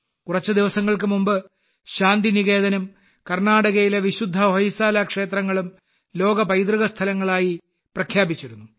കുറച്ചു ദിവസങ്ങൾക്കു മുമ്പ് ശാന്തിനികേതനും കർണാടകയിലെ വിശുദ്ധ ഹൊയ്സാല ക്ഷേത്രങ്ങളും ലോക പൈതൃക സ്ഥലങ്ങളായി പ്രഖ്യാപിച്ചിരുന്നു